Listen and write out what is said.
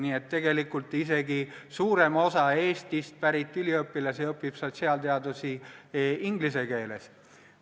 Nii et tegelikult isegi suurem osa Eestist pärit üliõpilasi õpib sotsiaalteadusi inglise keeles.